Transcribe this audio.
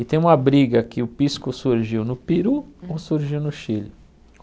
E tem uma briga que o pisco surgiu no Peru ou surgiu no Chile.